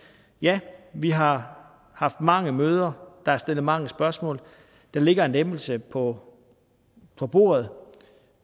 ja vi har haft mange møder der er stillet mange spørgsmål der ligger en lempelse på på bordet